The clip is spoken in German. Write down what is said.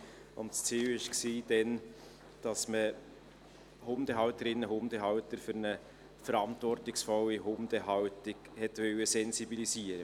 Damals war es das Ziel, Hundehalterinnen und Hundehalter für eine verantwortungsvolle Hundehaltung zu sensibilisieren.